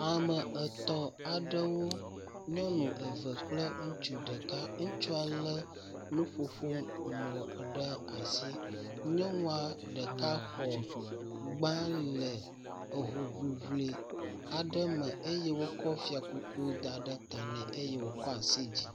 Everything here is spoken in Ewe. Ame etɔ̃ aɖewo. Nyɔnu eve kple ŋutsu ɖeka. Ŋutsua le nuƒoƒo mɔ ɖe asi. Nyɔnua ɖeka xɔ gba le ehoŋliŋli aɖe me eye wokɔ fiakuku da ɖe ta nɛ eye wokɔ asi dzi.